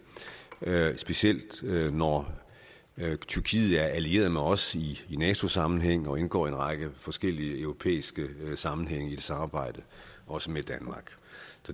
specielt når tyrkiet er allieret med os i nato sammenhæng og indgår i en række forskellige europæiske sammenhænge i et samarbejde også med danmark